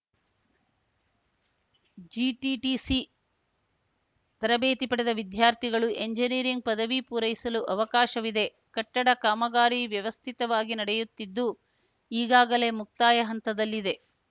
GTTC ತರಬೇತಿ ಪಡೆದ ವಿದ್ಯಾರ್ಥಿಗಳು ಎಂಜಿನಿಯರಿಂಗ್‌ ಪದವಿ ಪೂರೈಸಲು ಅವಕಾಶವಿದೆ ಕಟ್ಟಡ ಕಾಮಗಾರಿ ವ್ಯವಸ್ಥಿತವಾಗಿ ನಡೆಯುತ್ತಿದ್ದು ಈಗಾಗಲೇ ಮುಕ್ತಾಯ ಹಂತದಲ್ಲಿದೆ